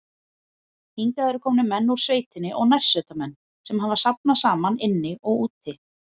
Hingað eru komnir menn úr sveitinni og nærsveitamenn, sem hafa safnast saman inni og úti.